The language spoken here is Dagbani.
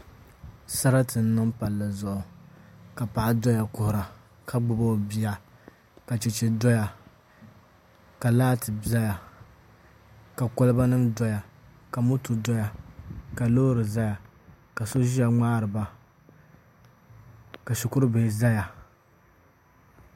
Sarati n niŋ Palli zuɣu ka paɣa doya kuhura ka gbubi o bia ka chɛchɛ doya ka laati ʒɛya ka kolba nim doya ka moto doya ka loori ʒɛya ka so ʒiya ŋmaariba ka shikuru bihi ʒɛya